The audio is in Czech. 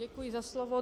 Děkuji za slovo.